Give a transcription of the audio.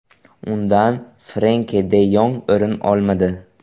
Undan Frenki de Yong o‘rin olmadi.